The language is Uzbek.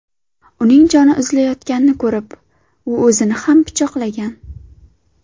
Uning joni uzilayotganini ko‘rib, u o‘zini ham pichoqlagan.